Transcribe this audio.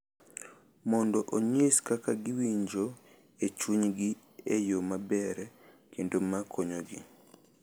Mondo onyis kaka giwinjo e chunygi e yo maber kendo ma konyogi.